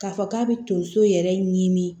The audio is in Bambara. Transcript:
K'a fɔ k'a bɛ tonso yɛrɛ ɲini